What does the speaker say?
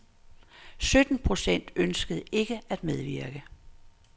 Sytten procent ønskede ikke at medvirke.